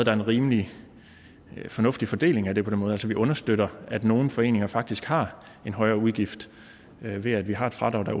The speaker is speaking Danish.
er en rimelig fornuftig fordeling af det på den måde altså vi understøtter at nogle foreninger faktisk har en højere udgift ved at vi har et fradrag